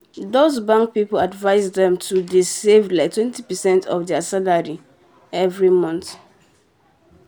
um those bank people advice them to um dey save like 20 percent of um there salary every month.